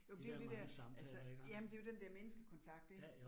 Jo, men det jo det der, altså jamen det jo den der menneskekontakt ik